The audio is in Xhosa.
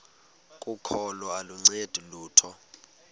kokholo aluncedi lutho